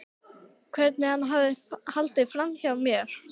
Hvernig hann hafði haldið framhjá mér.